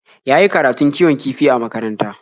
Ya yi karatun kiwon kifi a makaranta.